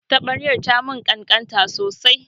Taɓaryar ta mun ƙanƙanta sosai